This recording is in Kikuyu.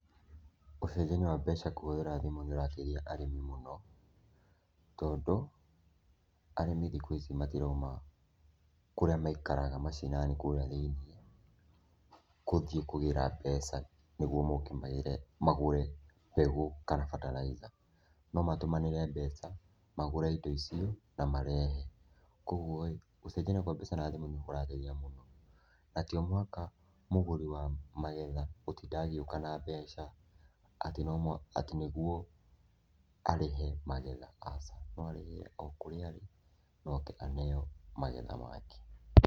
Ũcenjania wa mbeca kũhũthĩra thĩmũ nĩũrateithia arĩmi muno, tondũ arĩmi thĩkũ ici matiraũma kũrĩa maikaraga macinani kũrĩa thĩiniĩ gũthiĩ kũgĩra mbeca nĩgũo moke magĩre, magũre mbegũ kana fertilizer, nomatũmanĩre mbeca magũre indo icio na marehe, kwa ũgũo-ĩ, gũcenjania kwa mbeca na thĩmũ nĩ kũrateithia mũno. Na ti o mũhaka mũgũri wa magetha gũtinda agĩũka na mbeca atĩ no mũhaka, atĩ nĩgũo arĩhe magetha, aca, no arĩhĩre okũrĩa arĩ na oke aneo magetha make.